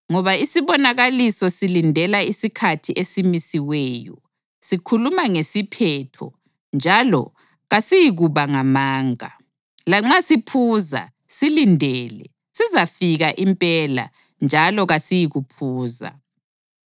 Ngoba isibonakaliso silindela isikhathi esimisiweyo; sikhuluma ngesiphetho njalo kasiyikuba ngamanga. Lanxa siphuza, silindele; sizafika impela njalo kasiyikuphuza.